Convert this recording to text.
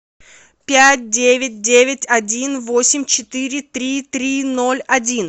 пять девять девять один восемь четыре три три ноль один